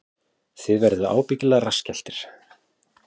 Þið verðið ábyggilega rassskelltir